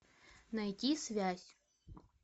найди связь